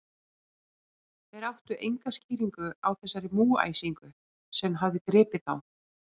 Þeir áttu enga skýringu á þessari múgæsingu, sem hafði gripið þá.